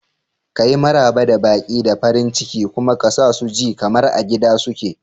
Kayi Maraba da baƙi da farin ciki kuma ka sa su ji kamar a gida suke.